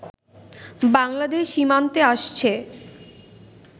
বাংলাদেশ সীমান্তে আসছে